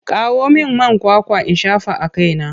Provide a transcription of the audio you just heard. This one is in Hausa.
Kawo min man kwakwa in shafa a kaina!